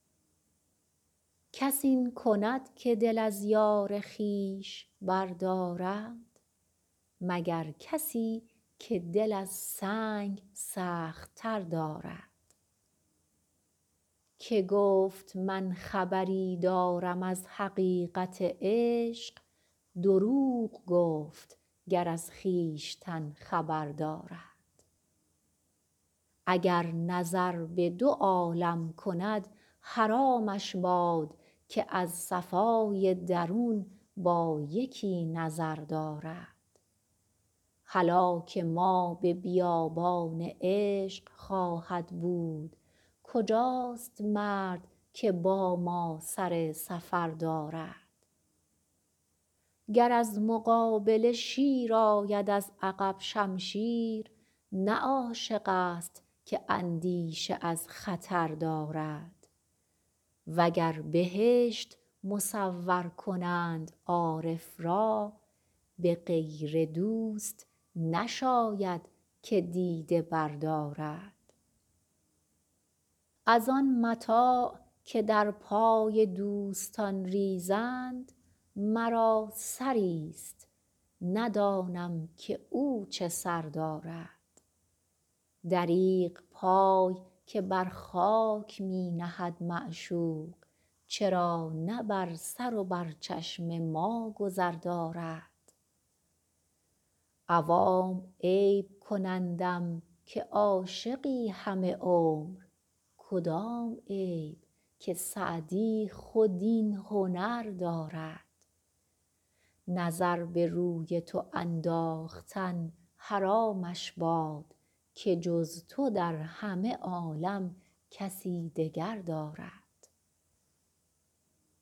کس این کند که دل از یار خویش بردارد مگر کسی که دل از سنگ سخت تر دارد که گفت من خبری دارم از حقیقت عشق دروغ گفت گر از خویشتن خبر دارد اگر نظر به دو عالم کند حرامش باد که از صفای درون با یکی نظر دارد هلاک ما به بیابان عشق خواهد بود کجاست مرد که با ما سر سفر دارد گر از مقابله شیر آید از عقب شمشیر نه عاشق ست که اندیشه از خطر دارد و گر بهشت مصور کنند عارف را به غیر دوست نشاید که دیده بردارد از آن متاع که در پای دوستان ریزند مرا سری ست ندانم که او چه سر دارد دریغ پای که بر خاک می نهد معشوق چرا نه بر سر و بر چشم ما گذر دارد عوام عیب کنندم که عاشقی همه عمر کدام عیب که سعدی خود این هنر دارد نظر به روی تو انداختن حرامش باد که جز تو در همه عالم کسی دگر دارد